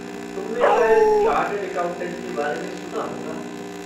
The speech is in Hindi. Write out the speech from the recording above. तुमने शायद चार्टेड एकाउंटेंट के बारे में सुना होगा।